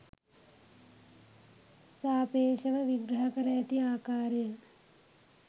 සාපේ්ශව විග්‍රහ කර ඇති ආකාරය